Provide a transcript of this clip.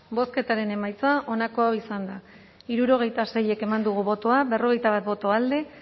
bozketaren emaitza onako izan da hirurogeita sei eman dugu bozka berrogeita bat boto alde